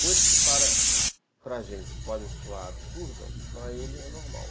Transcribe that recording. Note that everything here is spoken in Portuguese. Coisas que para para a gente podem soar absurdas, para ele é normal.